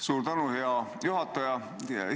Suur tänu, hea juhataja!